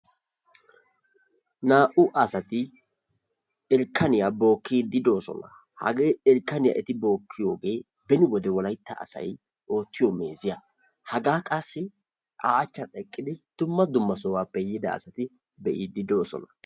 Naa'u asati irkanniya bookiidi de'oosona, ha irkanne eti bookiyoge beni wolaytta asay ootiyo meeziya, hagaa qassi a achchan eqqidi dumma dumma sohuwappe yiida asay eqqidi be'iidi de'oososna.